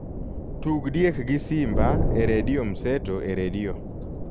tug diek gi simba e redio mseto e redio